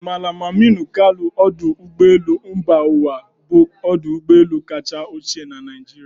Mallam Aminu Kano Ódu Ụgbọelu mba uwa bụ ọdụ ụgbọelu kacha ochie na Naịjirịa.